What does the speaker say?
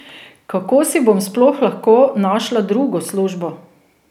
Kako si bom sploh lahko našla drugo službo?